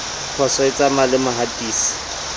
phoso e tsamaya le mohatisi